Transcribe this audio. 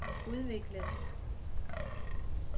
udviklet